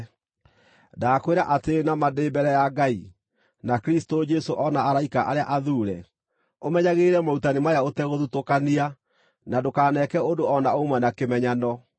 Ndakwĩra atĩrĩ na ma ndĩ mbere ya Ngai, na Kristũ Jesũ o na araika arĩa athuure, ũmenyagĩrĩre morutani maya ũtegũthutũkania, na ndũkaneeke ũndũ o na ũmwe na kĩmenyano.